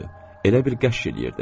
Elə bir qəşş eləyirdi.